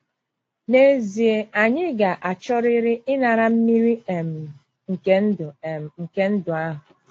N’ezie, anyị ga - achọrịrị ‘ ịnara mmiri um nke ndụ um nke ndụ ahụ. ’